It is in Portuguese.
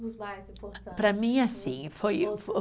Dos mais importantes. Para mim assim, foi o